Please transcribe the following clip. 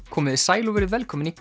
komiði sæl og verið velkomin í